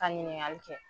Ka ɲininkali kɛ